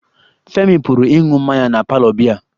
Femi pụrụ ịṅụ mmanya na parlour biya